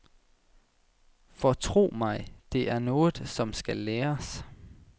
For tro mig, det er noget, som skal læres.